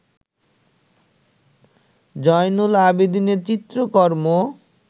জয়নুল আবেদিনের চিত্রকর্ম